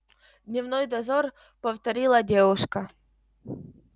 дневной дозор повторила девушка